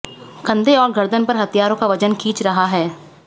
कंधे और गर्दन पर हथियारों का वजन खींच रहा है